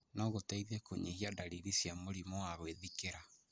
no gũteithie kũnyihia ndariri cia mũrimũ wa gwĩthikĩra.